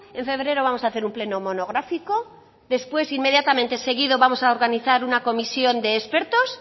en febrero vamos a hacer un pleno monográfico después inmediatamente seguido vamos a organizar una comisión de expertos